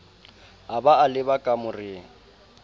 a ba a leba kamoreng